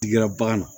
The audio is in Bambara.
Tigi ka bagan na